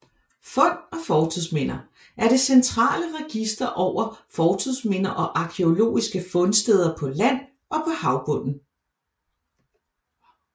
Fund og Fortidsminder er det centrale register over fortidsminder og arkæologiske fundsteder på land og på havbunden